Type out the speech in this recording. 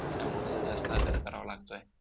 त्यामुळं कसं जास्त अभ्यास करावा लागतोय.